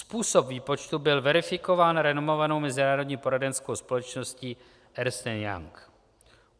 Způsob výpočtu byl verifikován renomovanou mezinárodní poradenskou společností Ernst and Young.